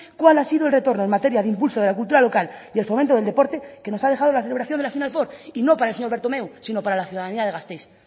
cuál ha sido el retorno en materia de impulso de la cultura local y el fomento del deporte que nos ha dejado la celebración de la final four y no para el señor bertomeu sino para la ciudadanía de gasteiz